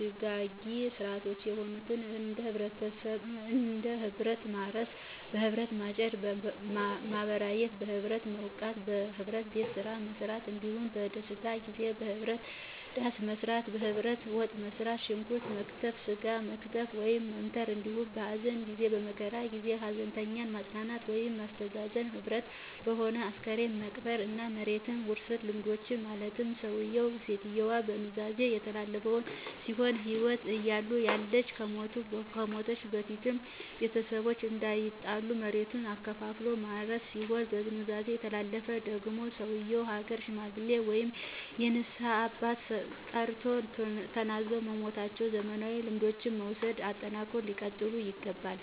ድጋጊ ሥርዓቶች የሆኑትን እንደበህብረትማርስ፣ በህብረት ማጨድ፣ ማበራየት፣ (በህብረትመዉቃት)፣በህብረት ቤትመሥራት፣ እንዳሁም በደስታጊዜበህብረት ዳሥመጣል፣ በህብረት ወጥመሥራት፣ ሽንኩረት መክተፍ፣ ሥጋ መክተፍ(መምተር)አንዲሁም በሀዘንጊዜ(በመከራ ጊዜ) ሀዘንተኛዉን ማጽናናት ወይም ማስተዛዘንዘ ህብረት በመሆን አስክሬን መቅበር። እና የመሬት ዉርሥልምዶችን ማለትም ሠዉየዉ ( ሴትየዋ)በኑዛዜ የሚተላለፍ ሲሆን በህይወት እያለ(እያለች )ከመሞቱ(ከመሞቷ)በፊት ቤተሰቦቹ እንዳይጣሉ መሬቱን አከፋፍሎ ማውረስ ሲሆን፣ በኑዛዜ የሚተላለፍ ደግሟ ሰዉየው የሀገር ሽማግሌ ወይም የንስሀ አባት ጠርቶ ተናዞ የሚሟተዉነዉ። ዘመናዊ ልምዱን በመዉሰድ አጠናክረው ሊቀጥሉ ይገባል።